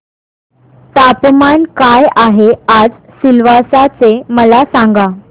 तापमान काय आहे आज सिलवासा चे मला सांगा